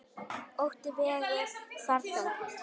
Ótti vegur þar þungt.